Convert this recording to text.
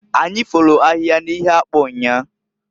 Anyi folu ahịhịa n'ihe akpụ nnyaa.